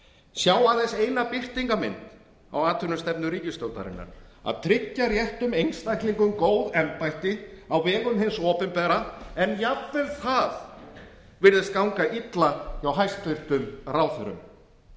sjá aðeins eina birtingarmynd á atvinnustefnu ríkisstjórnarinnar að tryggja réttum einstaklingum góð embætti á vegum hins opinbera en jafnvel það virðist ganga illa hjá hæstvirtum ráðherrum